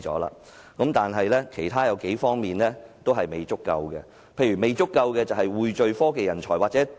然而，政府在其他方面的工作卻仍嫌不足，例如匯聚科技人才。